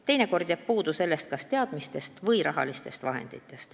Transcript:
Teinekord aga jääb selleks kas teadmisi või raha puudu.